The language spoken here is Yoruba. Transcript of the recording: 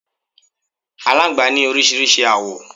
Alángbá ní oríṣiríṣi awo